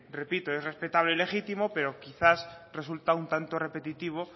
repito que es respetable y legítimo pero quizás resulta un tanto repetitivo